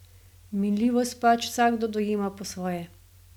Minljivost pač vsakdo dojema po svoje.